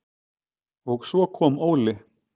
Og svo kom Óli.